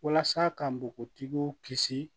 Walasa ka npogotigiw kisi